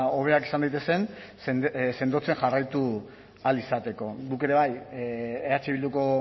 hobeak izan daitezen sendotzen jarraitu ahal izateko guk ere bai eh bilduko